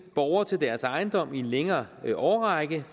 borgere til deres ejendom i en længere årrække